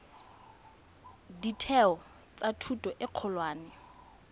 ditheo tsa thuto e kgolwane